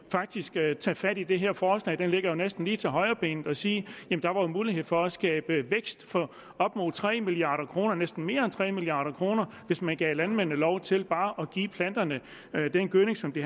faktisk tage tage fat i det her forslag det ligger jo næsten lige til højrebenet og sige at der var mulighed for at skabe vækst for op mod tre milliard kr ja næsten mere end tre milliard kr hvis man gav landmændene lov til bare at give planterne den gødning som de